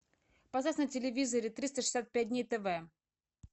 поставь на телевизоре триста шестьдесят пять дней тв